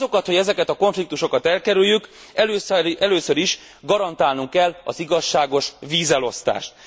Azokat, hogy ezeket a konfliktusokat elkerüljük, először is garantálnunk kell az igazságos vízelosztást.